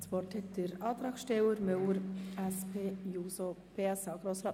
Das Wort hat der Antragsteller, Grossrat Müller.